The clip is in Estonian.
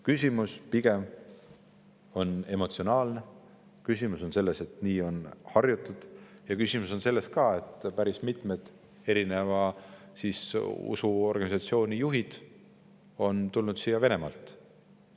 Küsimus on pigem emotsionaalne, küsimus on selles, et nii on harjutud, ja küsimus on ka selles, et päris mitmed usuorganisatsioonide juhid on tulnud siia Venemaalt.